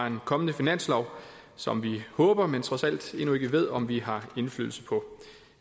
en kommende finanslov som vi håber men trods alt endnu ikke ved om vi har indflydelse på